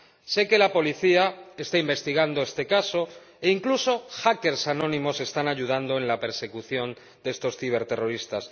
Sé que la policía está investigando este caso e incluso que hackers anónimos están ayudando en la persecución de estos ciberterroristas.